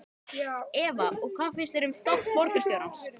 Eva: Og hvað finnst þér um þátt borgarstjórans?